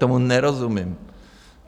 Tomu nerozumím.